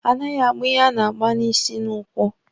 A naghị agba ihe a na-agba n'isi n'ụkwụ.